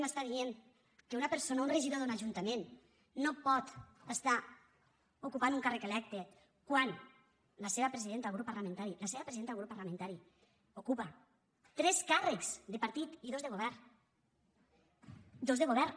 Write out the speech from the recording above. m’està dient que una persona un regidor d’un ajuntament no pot estar ocupant un càrrec electe quan la seva presidenta del grup parlamentari la seva presidenta del grup parlamentari ocupa tres càrrecs de partit i dos de govern dos de govern